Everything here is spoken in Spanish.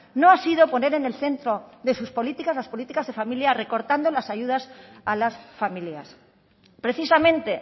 no ha sido poner en el centro de sus políticas las políticas de familia recortando las ayudas a las familias precisamente